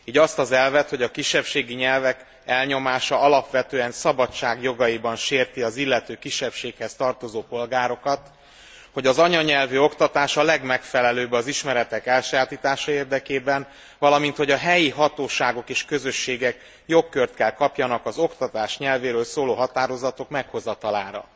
Így azt az elvet, hogy a kisebbségi nyelvek elnyomása alapvetően szabadságjogaiban sérti az illető kisebbséghez tartozó polgárokat, hogy az anyanyelvű oktatás a legmegfelelőbb az ismeretek elsajátítása érdekében, valamint, hogy a helyi hatóságok és közösségek jogkört kell kapjanak az oktatás nyelvéről szóló határozatok meghozatalára.